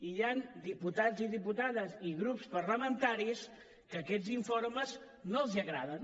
i hi han diputats i diputades i grups parlamentaris que aquests informes no els agraden